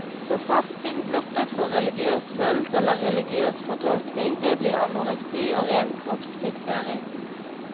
For fasting blottet for religiøs følelse eller religiøs fortolkning, det blir anoreksi, og ren kroppsfiksering.